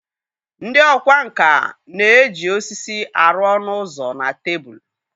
Ndị ọkwá nkà na-eji osisi arụ ọnụ ụzọ na tebụl.